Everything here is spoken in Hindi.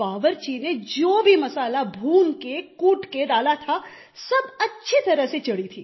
बावर्ची ने जो भी मसाला भून के कूट के डाला था सब अच्छी तरह से चढ़ी थी